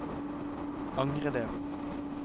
angre det